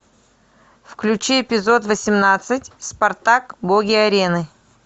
включи эпизод восемнадцать спартак боги арены